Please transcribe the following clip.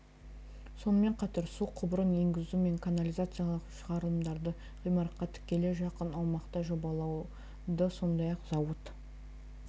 сонымен қатар су құбырын енгізу мен канализациялық шығарылымдарды ғимаратқа тікелей жақын аумақты жобалауды сондай-ақ зауыт